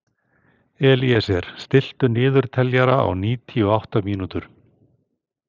Elíeser, stilltu niðurteljara á níutíu og átta mínútur.